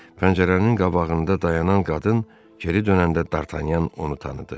Pəncərənin qabağında dayanan qadın geri dönəndə D'Artagnan onu tanıdı.